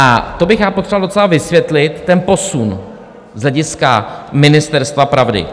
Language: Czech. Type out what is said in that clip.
A to bych já potřeboval docela vysvětlit, ten posun z hlediska ministerstva pravdy.